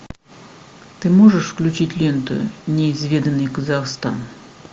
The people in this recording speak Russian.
ты можешь включить ленту неизведанный казахстан